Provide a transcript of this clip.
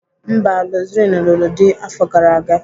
Mba, Roseline lụrụ di afọ gara aga.